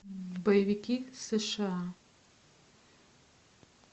боевики сша